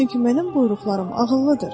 Çünki mənim buyruqlarım ağıllıdır.